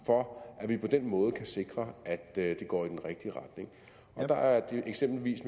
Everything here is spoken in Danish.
for at vi på den måde kan sikre at det går i den rigtige retning der er eksempelvis